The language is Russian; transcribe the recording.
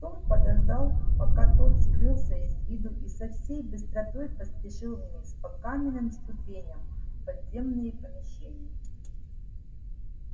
том подождал пока тот скрылся из виду и со всей быстротой поспешил вниз по каменным ступеням в подземные помещения